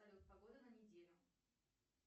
салют погода на неделю